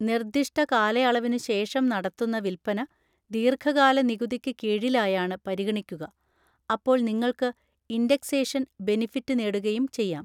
നിർദിഷ്ട കാലയളവിനുശേഷം നടത്തുന്ന വില്പന ദീർഘകാല നികുതിക്ക് കീഴിലായാണ് പരിഗണിക്കുക; അപ്പോൾ നിങ്ങൾക്ക് ഇൻഡെക്സേഷൻ ബെനിഫിറ്റ് നേടുകയും ചെയ്യാം.